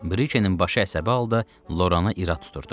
Brikenin başı əsəbi halda Lorana irad tuturdu.